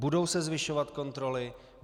Budou se zvyšovat kontroly?